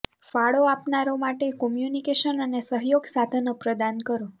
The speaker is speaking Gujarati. ફાળો આપનારાઓ માટે કોમ્યુનિકેશન અને સહયોગ સાધનો પ્રદાન કરો